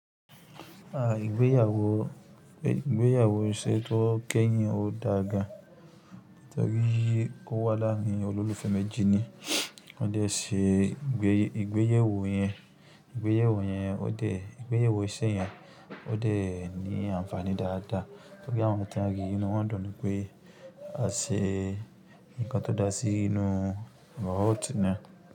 À ìgbéyàwó, ìgbéyàwó ṣẹ́ tó kẹ́yìn ó dáa gan, nítorí ó wà láàárín olólùfẹ́ méjì ni. Wọ́n dẹ sí ìgbéyẹ̀wò yẹn, ìgbéyẹ̀wò yẹn ó dẹ̀, ìgbéyẹ̀wò iṣẹ́ yẹn ó dé ní àǹfààní dáadáa, torí àwọn ìtan rí inú wọn dùn pé a ṣe nǹkan tó dá sí inú robot náà.